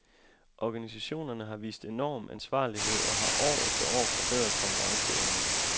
Organisationerne har vist enorm ansvarlighed og har år efter år forbedret konkurrenceevnen.